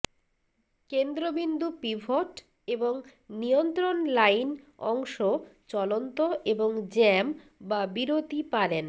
কেন্দ্রবিন্দু পিভট এবং নিয়ন্ত্রণ লাইন অংশ চলন্ত এবং জ্যাম বা বিরতি পারেন